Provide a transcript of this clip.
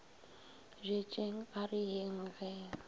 bjetšeng a re yeng ge